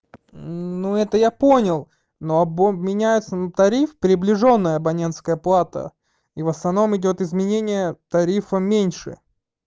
ну это я понял но будет меняется на тариф приближённая абонентская плата и в основном идёт изменение тарифа меньше